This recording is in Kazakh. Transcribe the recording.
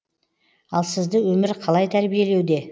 ал сізді өмір қалай тәрбиелеуде